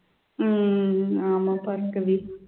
உம் ஆமா பார்கவி